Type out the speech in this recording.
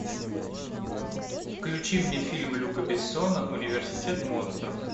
включи мне фильм люка бессона университет монстров